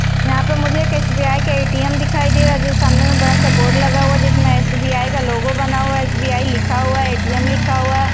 यहाँ पर मुझे एक एस_बी_आई का ए_टी_एम दिखाई दे रहा है जो सामने में बड़ा-सा बोर्ड लगा हुआ है जिसमें एस_बी_आई का लोगो बना हुआ है एस_बी_आई लिखा हुआ है ए_टी_एम लिखा हुआ है।